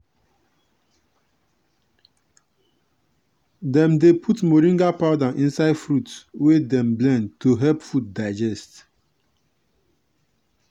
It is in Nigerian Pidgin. dem dey put moringa powder inside fruit wey dem blend to help food digest.